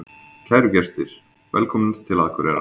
Kæru gestir! Velkomnir til Akureyrar.